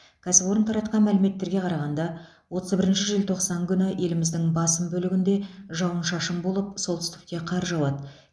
кәсіпорын таратқан мәліметтерге қарағанда отыз бірінші желтоқсан күні еліміздің басым бөлігінде жауын шашын болып солтүстікте қар жауады